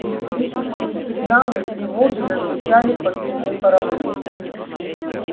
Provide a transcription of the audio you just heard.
истерические сигналы тревоги зазвучали по всему кораблю